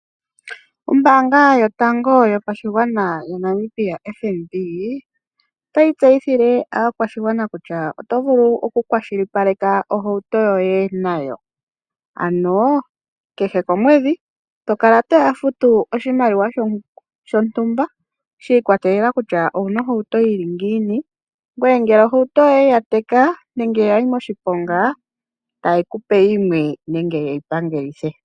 Ombaanga yotango yopashigwana yaNamibia FNB, otayi tseyithile aakwashigwana kutya otovulu okukwashilipaleka ohauto nayo ano kehe komwedhi tokala toya futu oshimaliwa shontumba shiikwatelela kutya owuna ohauto yili ngini, ngoye ohauto yoye ngele ya teka taye kupe yimwe nenge yeyi pangelithe.